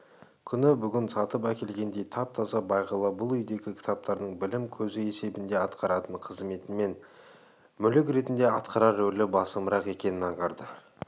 күні бүгін сатып әкелгендей тап-таза бағила бұл үйдегі кітаптардың білім көзі есебінде атқаратын қызметінен гөрі мүлік ретінде атқарар ролі басымырақ екенін аңғарды